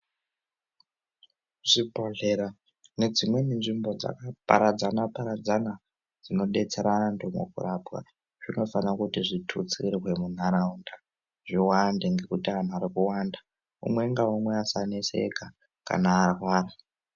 Zvibhedhlera nedzimweni nzvimbo dzakaparadzana-paradzana dzinodetsera antu mkukurapa zvinofanira kuti zvitutsirwe muntaraunda zviwande ngekuti antu ari kuwanda umwe ngaumwe asaneseka kana arwara.